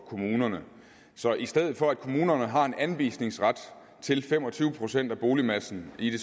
kommunerne så i stedet for at kommunerne har en anvisningsret til fem og tyve procent af boligmassen i